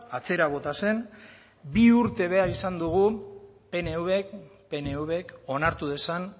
atzera bota zen bi urte behar izan dugu pnvk pnvk onartu dezan